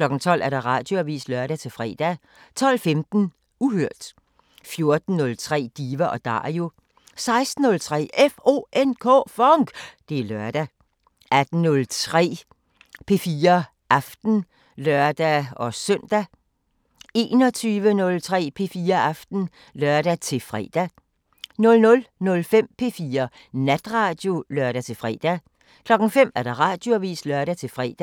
12:00: Radioavisen (lør-fre) 12:15: Uhørt 14:03: Diva & Dario 16:03: FONK! Det er lørdag 18:03: P4 Aften (lør-søn) 21:03: P4 Aften (lør-fre) 00:05: P4 Natradio (lør-fre) 05:00: Radioavisen (lør-fre)